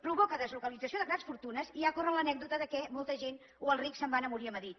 provoca deslocalització de grans fortunes i ja corre l’anècdota que molta gent o els rics se’n van a morir a madrid